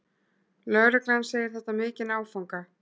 Lögreglan segir þetta vera mikinn áfanga